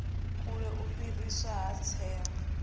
kule u fheliswa ha tsengo